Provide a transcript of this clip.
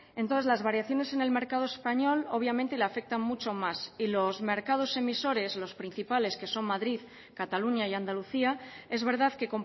entonces las variaciones en el mercado español obviamente le afectan mucho más y los mercados emisores los principales que son madrid cataluña y andalucía es verdad que